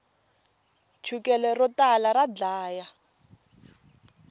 chukele ro tala ra dlaya